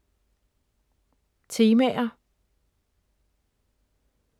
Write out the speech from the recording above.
Temaer